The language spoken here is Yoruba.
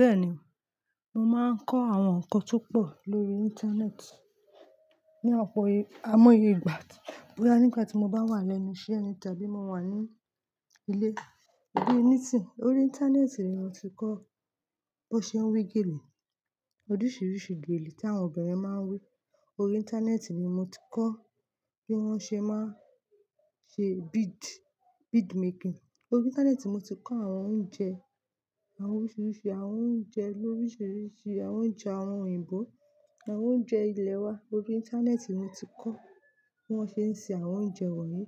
Bẹ́ẹ̀ni, mo máa ń kọ́ àwọn ǹkan tó pọ̀ lórí Íńtánẹ́ẹ̀tì. Ni ọ̀pọ̀ ai móye ìgbà. Boyá nígbà tí mo bá wà lẹ́nu iṣẹ́ ni tàbí mo wà ní ilé, tabi ni isin Orí Íńtánẹ́ẹ̀tì ni mo ti kọ́ bi won ṣe ń we gèlè, oríṣiríṣi gèlè tí àwọn obìnrin máa ń wé. Orí Íńtánẹ́ẹ̀tì ni mo ti kọ́ bí wọ́n ṣe máa ń ṣe bead, bead making. Orí Íńtánẹ́ẹ̀tì ni mo ti kọ́ àwọn oúnjẹ àwọn oríṣiríṣi àwọn oúnjẹ lóríṣiríṣi àwọn oúnjẹ àwọn òyìnbó àwọn oúnjẹ ilè wa. Orí Íńtánẹ́ẹ̀tì ni mo ti kọ́ bí wọ́n ṣe ń se àwọn oúnjẹ wọ̀nyí.